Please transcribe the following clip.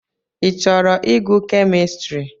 Ị chọrọ ịgụ kemistri?